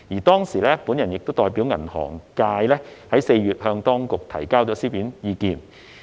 當時我亦代表銀行界於4月向當局提交書面意見。